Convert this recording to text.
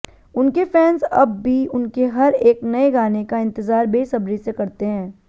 उनके फैंस अब भी उनके हर एक नये गाने का इंतजार बेसब्री से करते हैं